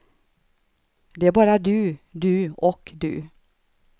Det är bara du, du och du.